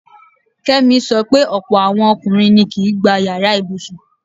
Kẹ́mi sọ pé ọ̀pọ̀ àwọn ọkùnrin ni kìí gbá yàrá ibùsùn.